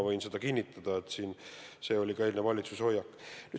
Võin kinnitada, et see oli ka eilne valitsuse hoiak.